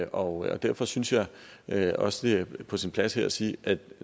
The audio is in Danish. og derfor synes jeg jeg også det er på sin plads her at sige at